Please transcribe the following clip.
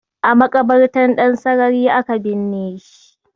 A maƙabartar Ɗansarari aka binne shi